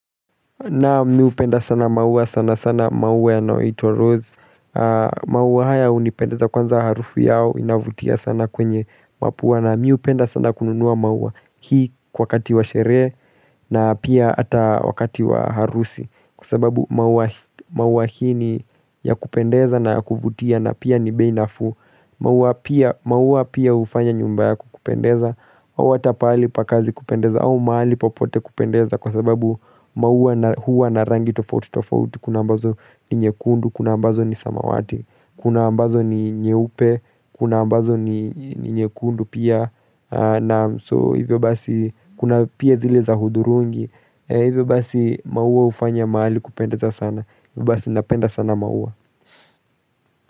Naam mimi hupenda sana maua sana sana maua yanayoitwa rose maua haya hunipendeza kwanza harufu yao inavutia sana kwenye mapua na mimi hupenda sana kununua maua hii wakati wa sherehe na pia hata wakati wa harusi Kwa sababu maua hii ni ya kupendeza na ya kuvutia na pia ni bei nafuu maua pia hufanya nyumba yako kupendeza Hata pahali pa kazi kupendeza au mahali popote kupendeza kwa sababu maua huwa na rangi tofauti tofauti Kuna ambazo ni nyekundu, kuna ambazo ni samawati, kuna ambazo ni nyeupe, kuna ambazo ni nyekundu pia na so hivyo basi kuna pia zile za hudhurungi, hivyo basi maua hufanya mahali kupendeza sana Hivyo basi napenda sana maua.